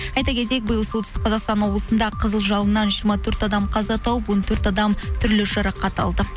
айта кетейік биыл солтүстік қазақстан облысында қызыл жалыннан жиырма төрт адам қаза тауып он төрт адам түрлі жарақат алды